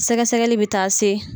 Sɛgɛ sɛgɛli bɛ taa se